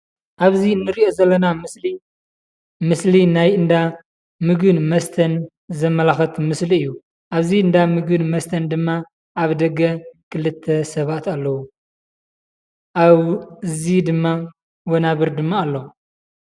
ኣብዚ እንሪኦ ዘለና ምስሊ ምስሊ ናይ እንዳ ምግብን መስተን ዘመላክት ምስሊ እዩ። ኣብዚ እንዳ ምግብን መስተን ድማ ኣብ ደገ ክልተ ሰባት ኣለው። ኣብዚ ድማ ወናብር ድማ ኣሎ።